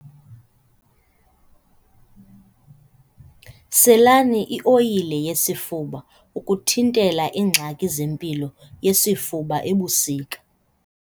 Selani ioyile yesifuba ukuthitela iingxaki zempilo yesifuba ebusika.